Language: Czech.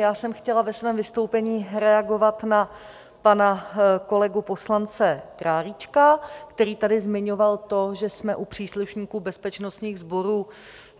Já jsem chtěla ve svém vystoupení reagovat na pana kolegu poslance Králíčka, který tady zmiňoval to, že jsme u příslušníků bezpečnostních sborů